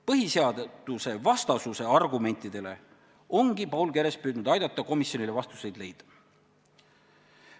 Põhiseadusvastasuse argumentidele ongi Paul Keres püüdnud aidata komisjonil vastuseid leida.